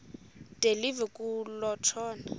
de live kutshona